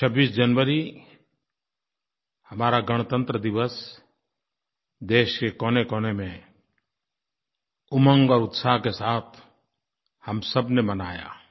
26 जनवरी हमारा गणतंत्र दिवस देश के कोनेकोने में उमंग और उत्साह के साथ हम सबने मनाया